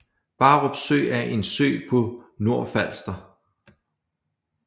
Barup Sø er en sø på Nordfalster